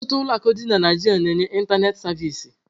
Ọtụtụ ụlọ akụ dị na Naịjirịa na-enye ịntanetị savịsị.